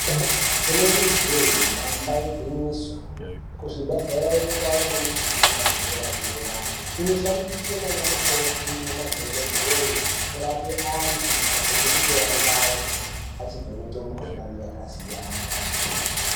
Inenge jee damba igwinyiso kuzvibhehlere kwava nemishina yedera dera inoshandiswe naana mukoti nemadhokodheye kurape antu pamwe nekutora ngazi achivheneke mikohlani yakasiyana.